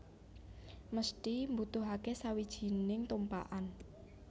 Mesthi mbutuhake sawijining tumpakan